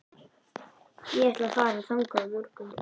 Ég ætla að fara þangað á morgun.